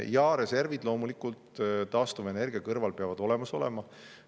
Jaa, reservid loomulikult taastuvenergia kõrval peavad olemas olema.